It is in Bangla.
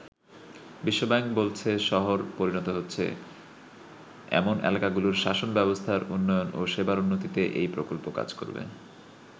বিশ্বব্যাংক বলছে, শহরে পরিণত হচ্ছে এমন এলাকাগুলোর শাসন ব্যবস্থার উন্নয়ন ও সেবার উন্নতিতে এই প্রকল্প কাজ করবে।